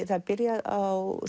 það er byrjað á